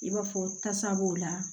I b'a fɔ tasa b'o la